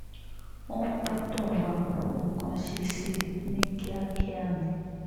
wọ́n gbọ́dọ̀ wá nǹkan ṣe sí i ní kíákíá ni